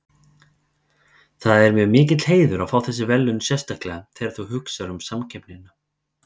Það er mér mikill heiður að fá þessi verðlaun sérstaklega þegar þú hugsar um samkeppnina.